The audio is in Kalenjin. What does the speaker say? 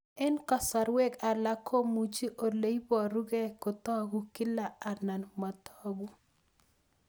Eng'kasarwek alak komuchi ole parukei kotag'u kila anan matag'u